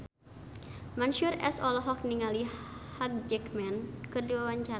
Mansyur S olohok ningali Hugh Jackman keur diwawancara